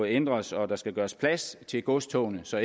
ændres og der skal gøres plads til godstogene så